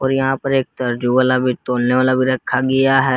और यहां पर एक तर्जु वाला भी तौलने वाला भी रखा गया है।